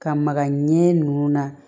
Ka magaɲɛ ɲɛ